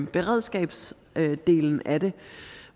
beredskabsdelen af det